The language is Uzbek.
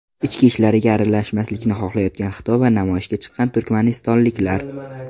Ichki ishlariga aralashmasliklarini xohlayotgan Xitoy va namoyishga chiqqan turkmanistonliklar.